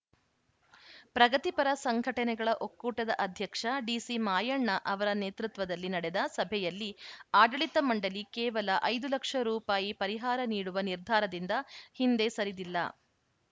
ಪ್ರಗತಿಪರ ಸಂಘಟನೆಗಳ ಒಕ್ಕೂಟದ ಅಧ್ಯಕ್ಷ ಡಿಸಿ ಮಾಯಣ್ಣ ಅವರ ನೇತೃತ್ವದಲ್ಲಿ ನಡೆದ ಸಭೆಯಲ್ಲಿ ಆಡಳಿತ ಮಂಡಳಿ ಕೇವಲ ಐದು ಲಕ್ಷ ರುಪಾಯಿ ಪರಿಹಾರ ನೀಡುವ ನಿರ್ಧಾರದಿಂದ ಹಿಂದೆ ಸರಿದಿಲ್ಲ